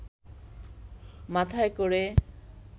মাথায় ক’রে